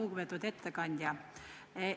Lugupeetud ettekandja!